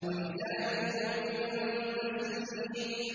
وَمِزَاجُهُ مِن تَسْنِيمٍ